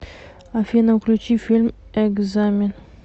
афина включи фильм экзамен